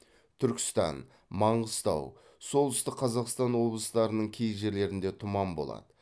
түркістан маңғыстау солтүстік қазақстан облыстарының кей жерлерінде тұман болады